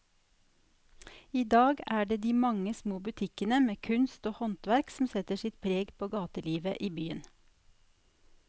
I dag er det de mange små butikkene med kunst og håndverk som setter sitt preg på gatelivet i byen.